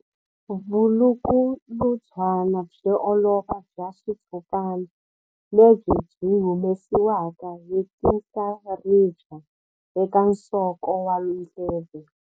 Vulukulutswana byo olova bya xitshopana lebyi byi humesiwaka hi tinhlaribya eka nsoko wa ndleve.